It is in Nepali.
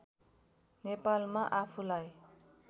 नेपालमा आफूलाई